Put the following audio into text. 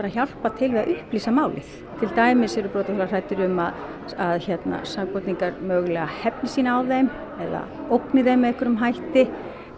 hjálpa til við að upplýsa málið til dæmis eru brotaþolar hræddir um að að sakborningar hefni sín á þeim eða ógni þeim með einhverjum hætti